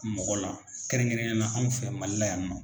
Mɔgɔ la kɛrɛnkɛrɛnyana anw fɛ Mali la yan nɔ.